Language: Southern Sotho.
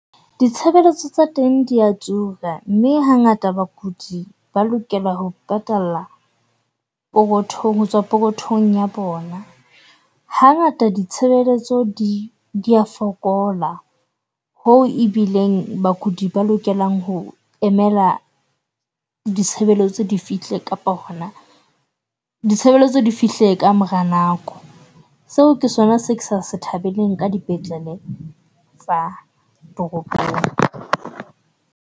Ditshebeletso tsa teng dia tura mme hangata bakudi ba lokela ho patala pokothong, hotswa pokothong ya bona. Hangata di tshebeletso di dia fokola ho ebileng bakudi ba lokelang ho emela ditshebeletso di fihle kapa hona ditshebeletso di fihle ka mora nako. Seo ke sona se ke sa sa e thabeleng ka dipetlele tsa toropong.